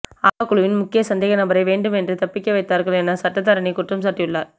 ஆவா குழுவின் முக்கிய சந்தேக நபரை வேண்டுமென்றே தப்பிக்க வைத்தார்கள் என சட்டத்தரணி குற்றம் சாட்டியுள்ளார்